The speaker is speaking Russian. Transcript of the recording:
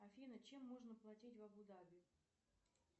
афина чем можно платить в абу даби